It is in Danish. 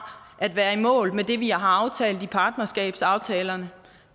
at være i mål med det vi har aftalt i partnerskabsaftalerne